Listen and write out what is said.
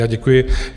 Já děkuji.